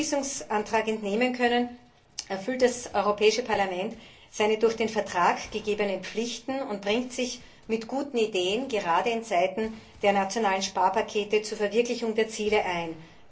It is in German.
Wie Sie dem Entschließungsantrag entnehmen können, erfüllt das Europäische Parlament seine durch den Vertrag gegebenen Pflichten und bringt sich, gerade in Zeiten der nationalen Sparpakete, mit guten Ideen zur Verwirklichung der Ziele ein.